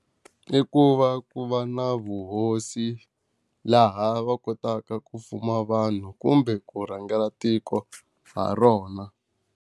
I ku va ku va na vuhosi, laha va kotaka ku fuma vanhu kumbe ku rhangela tiko ha rona.